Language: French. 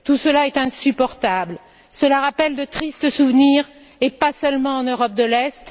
Tout cela est insupportable. Cela rappelle de tristes souvenirs et pas seulement en Europe de l'Est.